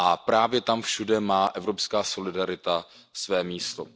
Právě tam všude má evropská solidarita své místo.